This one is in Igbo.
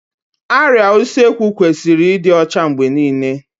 Árịá Usekwu kwesịrị ịdị ọcha mgbe niile